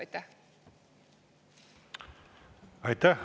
Aitäh!